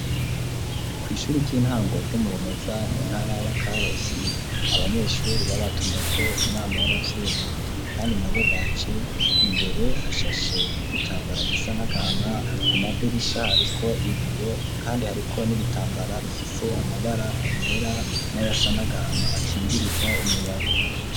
ku ishuri ry'intango ryo mu Rumeza mu ntara ya Karusi abanyeshuri babatumyeko inama y'abavyeyi kandi nabo baje imbere hashashe igitambara gisa n'agahama ku madirisha hariko ibiyo kandi hariko n'ibitambara bifise amabara yera nayasa n'agahana akingiriza umuyaga.